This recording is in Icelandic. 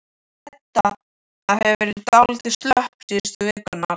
Edda hefur verið dálítið slöpp síðustu vikurnar.